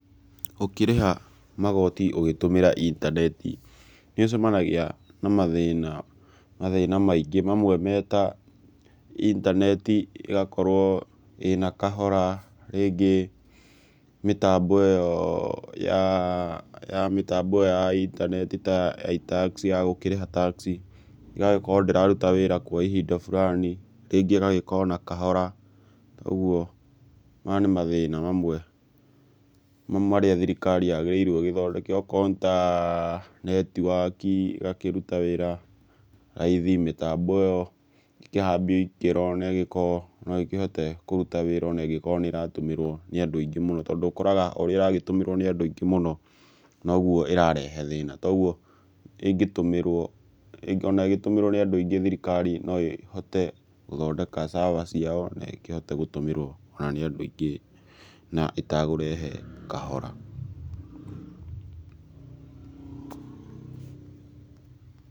Ũkĩrĩha magoti ũgĩtũmĩra intaneti nĩũcemanagia na mathĩna; mathĩna maingi. Mamwe meta intaneti igakorwo ĩna kahora, rĩngĩ mĩtambo ĩyo ya intaneti ta ya iTax ya gũkĩrĩha tax ĩgagĩkorwo ndĩraruta wĩra kwa ihinda fulani. Rĩngĩ no ĩkorwo na kahora. Ũguo maya ni mathĩna mamwe marĩa thirikari yagĩrĩirwo igĩthondeke, okorwo ni ta netiwaki igakĩruta wĩra raithi. Mĩtambo ĩyo ĩkĩhambio ikĩro na ĩgĩkorwo no ĩkĩhote kũruta wĩra ona ĩngĩkorwo nĩ ĩratũmĩrwo nĩ andũ aingĩ mũno, tondũ ũkoraga ũrĩa ĩragĩtũmĩrwo nĩ andũ aingĩ mũno nogwo irarehe thĩna. Kogwo ona ĩgĩtumĩrwo nĩ andũ aingĩ thirikari no ĩhote gũthondeka server ciao na ĩkĩhote gũtũmĩrwo ona nĩ andũ aingĩ na ĩtakũrehe kahora.